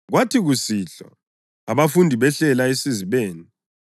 Kwathi kusihlwa abafundi behlela esizibeni,